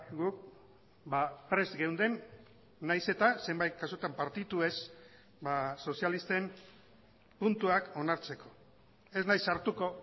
guk prest geunden nahiz eta zenbait kasutan partitu ez sozialisten puntuak onartzeko ez naiz sartuko